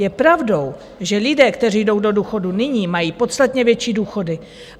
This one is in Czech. Je pravdou, že lidé, kteří jdou do důchodu nyní, mají podstatně větší důchody.